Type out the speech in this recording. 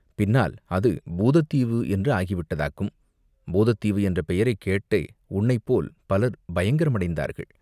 பின்னால் அது பூதத் தீவு என்று ஆகி விட்டதாக்கும். பூதத் தீவு என்ற பெயரைக் கேட்டே உன்னைப்போல் பலர் பயங்கரமடைந்தார்கள்.